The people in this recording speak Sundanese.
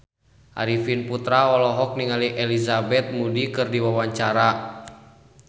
Arifin Putra olohok ningali Elizabeth Moody keur diwawancara